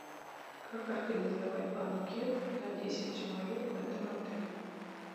как организовать банкет на десять человек в этом отеле